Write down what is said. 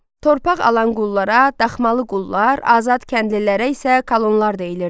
Torpaq alan qullara daxmalı qullar, azad kəndlilərə isə kolonlar deyilirdi.